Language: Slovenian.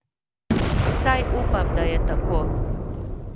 Vsaj upam, da je tako!